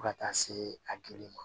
Fo ka taa se a gereli ma